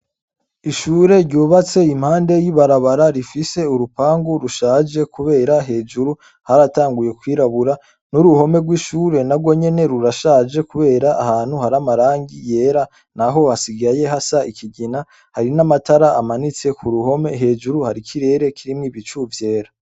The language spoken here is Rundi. Ishure ryubatse impande y'ibarabara rifise urupangu rushaje kubera hejuru haratanguye kwirabura n'uruhome rw'ishure narwo nyene rurashaje kubera ahantu hari amarangi yera naho hasigaye hasa ikigina harimwo amatara amanitse ku ruhome hejuru hari ikirere kirimwo ibicu vyera.